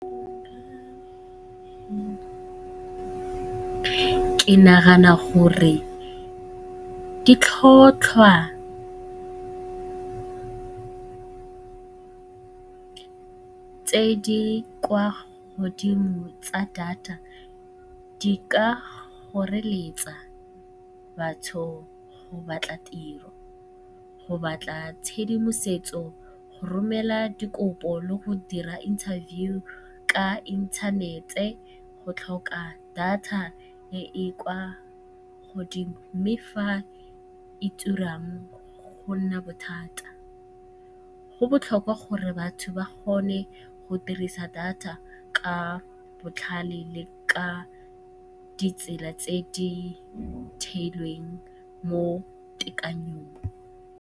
Ke nagana gore ke tlhotlhwa tse di kwa godimo tsa data di ka goreletsa batho go batla tiro, go batla tshedimosetso, go romela dikopo le go dira interview ka inthanete go tlhoka data e e kwa godimo. Mme fa e turang go nna bothata, go botlhokwa gore batho ba kgone go dirisa data ka botlhale le ka ditsela tse di theilweng mo .